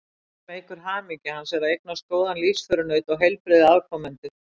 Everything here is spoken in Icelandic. Annað sem eykur hamingju hans er að eignast góðan lífsförunaut og heilbrigða afkomendur.